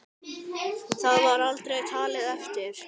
Það var aldrei talið eftir.